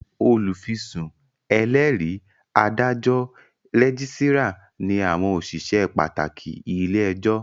Olùfisùn, ẹlẹ́rìí, adájọ́, rẹ́gísírà ní àwọn òṣìṣẹ́ pàtàkì ilé-ẹjọ́